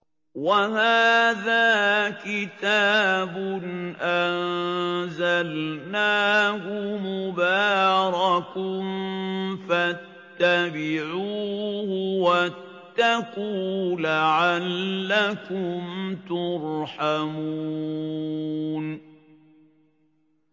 وَهَٰذَا كِتَابٌ أَنزَلْنَاهُ مُبَارَكٌ فَاتَّبِعُوهُ وَاتَّقُوا لَعَلَّكُمْ تُرْحَمُونَ